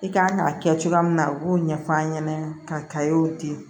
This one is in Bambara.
I kan ka kɛ cogoya min na u b'o ɲɛf'an ɲɛna ka di